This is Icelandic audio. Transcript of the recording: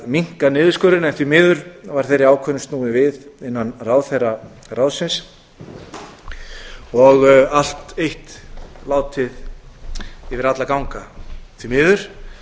minnka niðurskurðinn en því miður var þeirri ákvörðun snúið við innan ráðherraráðsins og allt eitt látið yfir alla ganga því miður